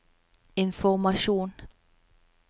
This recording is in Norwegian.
informasjon